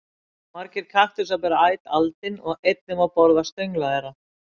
Margir kaktusar bera æt aldin og einnig má borða stöngla þeirra.